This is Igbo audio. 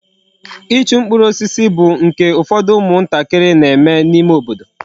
Ịchụ mkpụrụ osisi bụ nke ụfọdụ ụmụ ntakịrị na-eme n'ime obodo.